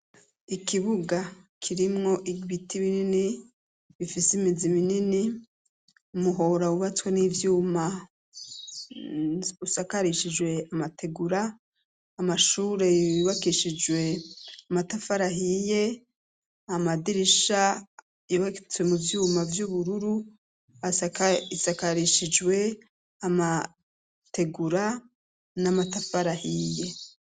Ikibuga kirimwo igibiti binini bifise imizi minini amuhora wubatswe n'ivyuma usakarishijwe amategura amashureywibakishijwe amatafarahiye amadirisha ibagitswe mu vyuma vy'uburu ru aisakarishijwe amategura n'amataparahiye.